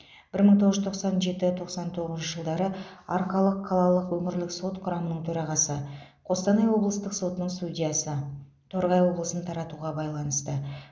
бір мың тоғыз жүз тоқсан жеті тоқсан тоғызыншы жылдары арқалық қалалық өңірлік сот құрамының төрағасы қостанай облыстық сотының судьясы торғай облысын таратуға байланысты